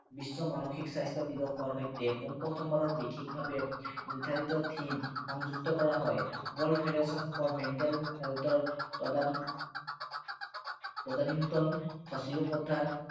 বিশ্ব মানসিক স্বাস্থ্য় দিৱসৰ সৈতে পোন প্ৰথমবাৰত বিশেষভাৱে নিৰ্দ্ধাৰিত theme সংযুক্ত কৰা হয়। World Federation for Mental Health ৰ তদানীন্তন সচিব প্ৰধান